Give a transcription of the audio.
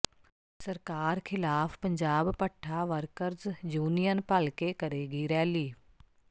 ਸਰਕਾਰ ਖਿਲਾਫ ਪੰਜਾਬ ਭੱਠਾ ਵਰਕਰਜ਼ ਯੂਨੀਅਨ ਭਲਕੇ ਕਰੇਗੀ ਰੈਲੀ